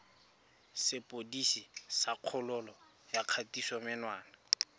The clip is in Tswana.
sepodisi sa kgololo ya kgatisomenwa